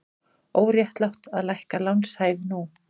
Óréttlátt að lækka lánshæfi nú